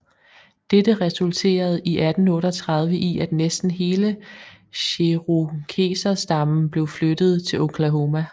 Dette resulterede i 1838 i at næsten hele cherokeserstammen blev flyttet til Oklahoma